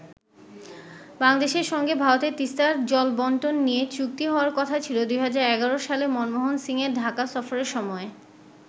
বাংলাদেশের সঙ্গে ভারতের তিস্তার জলবন্টন নিয়ে চুক্তি হওয়ার কথা ছিল ২০১১ সালে মনমোহন সিংয়ের ঢাকা সফরের সময়ে।